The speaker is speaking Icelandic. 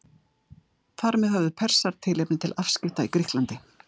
Þar með höfðu Persar tilefni til afskipta í Grikklandi.